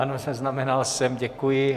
Ano, zaznamenal jsem, děkuji.